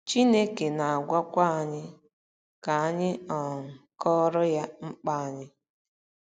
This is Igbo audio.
Chineke na - agwakwa anyị ka anyị um kọọrọ ya mkpa anyị.